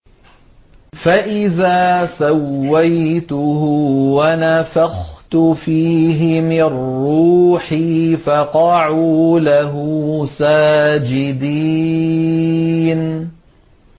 فَإِذَا سَوَّيْتُهُ وَنَفَخْتُ فِيهِ مِن رُّوحِي فَقَعُوا لَهُ سَاجِدِينَ